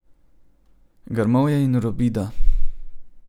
Grmovje in robida.